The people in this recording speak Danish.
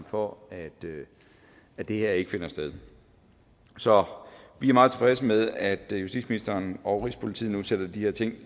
for at det her ikke finder sted så vi er meget tilfredse med at justitsministeren og rigspolitiet nu sætter de her ting